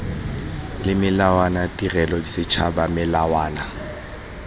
le melawana tirelo setšhaba melawana